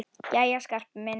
Jæja, Skarpi minn.